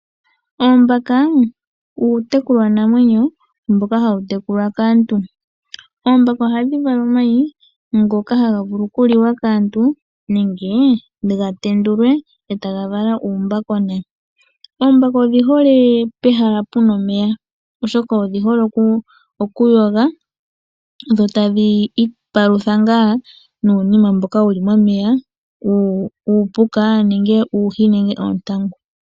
Oombaka uutekulwanamwenyo mboka hawu tekulwa kaantu. Oombaka ohadhi vala omayi ngoka haga vulu okuliwa kaantu nenge ga tenduke uumbakona. Oombaka odhi hole pehala pu na omeya, oshoka odhihole okuyoga dho tadhi ipalutha ngaa nuunima mboka wu li momeya, ongele uupuka, oohi, nenge uuntangu.